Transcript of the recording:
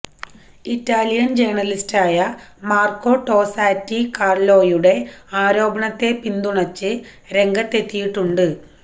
Italian ജേർണലിസ്റ്റായ Marco Tosatti കാർലോയുടെ ആരോപണത്തെ പിന്തുണച്ച് രംഗത്തെത്തിയിട്ടുണ്ട്